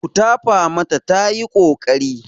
Ku tafa mata tayi ƙoƙari.